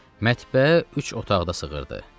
Mətbəə üç otaqda sığırdı.